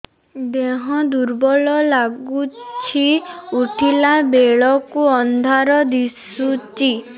ଦେହ ଦୁର୍ବଳ ଲାଗୁଛି ଉଠିଲା ବେଳକୁ ଅନ୍ଧାର ଦିଶୁଚି